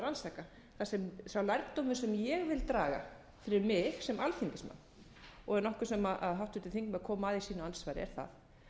rannsaka sá lærdómur sem ég vil draga fyrir mig sem alþingismann og er nokkuð sem háttvirtur þingmaður kom aðeins inn á i andsvari er það að